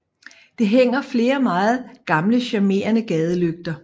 Der hænger flere meget gamle charmerende gadelygter